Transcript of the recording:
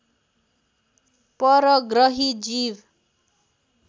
परग्रही जीव